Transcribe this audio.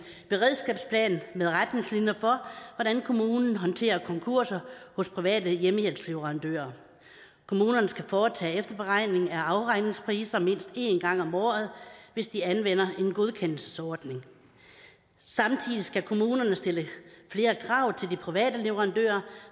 beredskabsplan med retningslinjer for hvordan kommunen håndterer konkurser hos private hjemmehjælpsleverandører kommunerne skal foretage efterberegning af afregningspriser mindst en gang om året hvis de anvender en godkendelsesordning samtidig skal kommunerne stille flere krav til de private leverandører